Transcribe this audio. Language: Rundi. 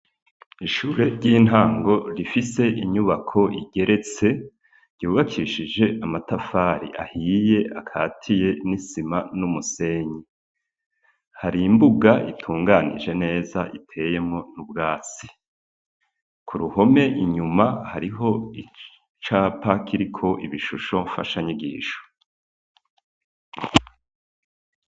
Ishure ry'intango rifise inyubako igeretse ryubakishije amatafari ahiye akatiye n'isima n'umusenyi hari imbuga itunganije neza iteyemwo n'ubwatsi, ku ruhome inyuma hariho icapa kiriko ibishusho mfasha nyigisho.